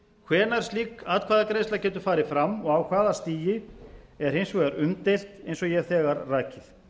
hvenær slík atkvæðagreiðsla getur farið fram og á hafa stigi er hins vegar umdeilt eins og ég hef þegar rakið